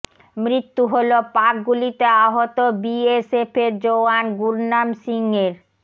মৃত্যু হল পাক গুলিতে আহত বিএসএফ জওয়ান গুরনাম সিংয়ের